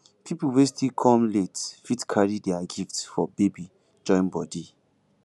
pipol wey still kom late fit carry dia gifts for baby join body